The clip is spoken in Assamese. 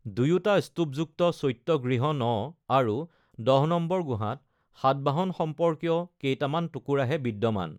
দুয়োটা স্তুপযুক্ত চৈত্য-গৃহ ৯ আৰু ১০ নং গুহাত সাতবাহন সম্পৰ্কীয় কেইটামান টুকুৰাহে বিদ্যমান।